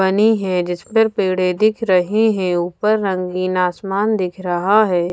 बनी हैं जिस पर पेड़े दिख रहे हैं ऊपर रंगीन आसमान दिख रहा है।